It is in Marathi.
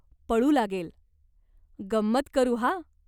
पळू लागेल. गंमत करू हा.